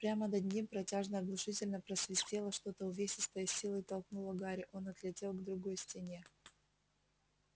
прямо над ним протяжно оглушительно просвистело что-то увесистое с силой толкнуло гарри он отлетел к другой стене